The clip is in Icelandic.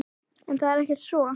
En það er ekki svo.